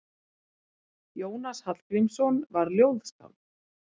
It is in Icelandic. Jónas Hallgrímsson var ljóðskáld.